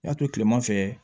I y'a to tilema fɛ